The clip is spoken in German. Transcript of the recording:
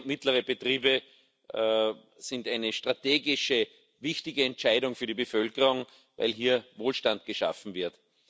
Kleine und mittlere Betriebe sind eine strategische, wichtige Entscheidung für die Bevölkerung, weil hier Wohlstand geschaffen wird.